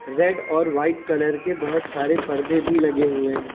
Red और white colour के बहोत सारे पर्दे भी लगे हुए हैं।